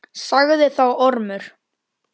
Sagði þá Ormur: